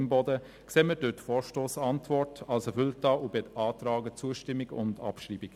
Imboden betrachten wir durch die Vorstossantwort als erfüllt und beantragen Zustimmung und Abschreibung.